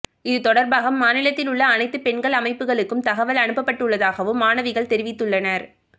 இதுதொடர்பாக மாநிலத்தில் உள்ள அனைத்து பெண்கள் அமைப்புகளுக்கும் தகவல் அனுப்பப்பட்டுள்ளதாகவும் மாணவிகள் தெரிவித்துள்ளனர்